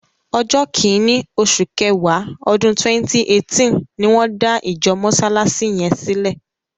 Ọjọ́ kìíní, osù kẹwàá, ọdún 2018 ni wọ́n dá ìjọ Mọsálásí yẹn sílẹ.